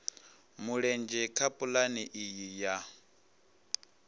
mulenzhe kha pulane iyi ya